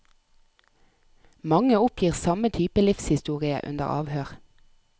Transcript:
Mange oppgir samme type livshistorie under avhør.